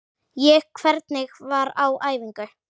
Ég: Hvernig var á æfingu?